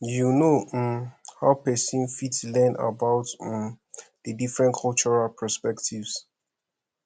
you know um how pesin fit learn about um di different cultural perspectives